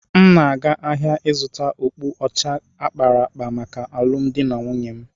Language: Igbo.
M na-aga ahịa ịzụta okpu ọcha a kpara akpa maka alụmdi na nwunye m.